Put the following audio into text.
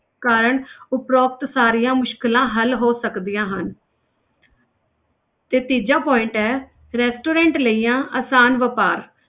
ਕਾਰਣ ਉਪਰੋਕਤ ਸਾਰੀਆਂ ਮੁਸ਼ਕਲਾਂ ਹੱਲ ਹੋ ਸਕਦੀਆਂ ਹਨ ਤੇ ਤੀਜਾ point ਹੈ restaurant ਲਈਆਂ ਆਸਾਨ ਵਾਪਾਰ